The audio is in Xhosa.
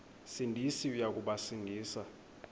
sindisi uya kubasindisa